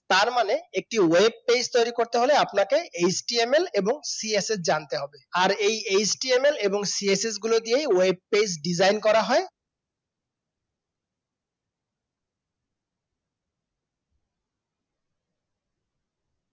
তার মানে একটা web page তৈরি করতে হলে আপনাকে HTML এবং CSS জানতে হবে আর এই HTML এবং CSS গুলো দিয়ে web page design করা হয়